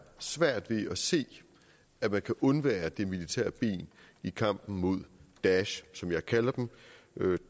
svært ved at se at man kan undvære det militære ben i kampen mod daesh som jeg kalder dem